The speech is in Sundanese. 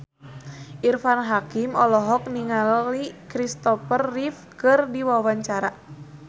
Irfan Hakim olohok ningali Kristopher Reeve keur diwawancara